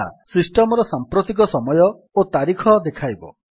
ଏହା ସିଷ୍ଟମ୍ ର ସାମ୍ପ୍ରତିକ ସମୟ ଓ ତାରିଖ ଦେଖାଇବ